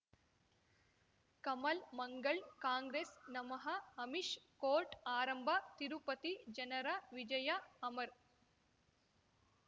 ಕಮಲ್ ಮಂಗಳ್ ಕಾಂಗ್ರೆಸ್ ನಮಃ ಅಮಿಷ್ ಕೋರ್ಟ್ ಆರಂಭ ತಿರುಪತಿ ಜನರ ವಿಜಯ ಅಮರ್